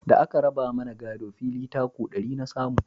Da a ka raba mana gado, fili taku ɗari na samu